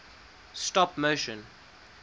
stop motion